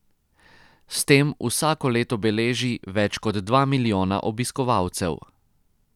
S tem vsako leto beleži več kot dva milijona obiskovalcev.